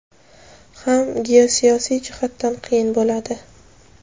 ham geosiyosiy jihatdan qiyin bo‘ladi.